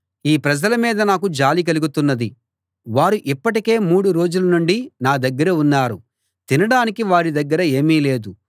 ఈ ప్రజల మీద నాకు జాలి కలుగుతున్నది వారు ఇప్పటికే మూడు రోజుల నుండి నా దగ్గర ఉన్నారు తినడానికి వారి దగ్గర ఏమీ లేదు